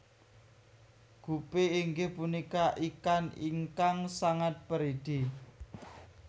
Gupi inggih punika ikan ingkang sangat peridi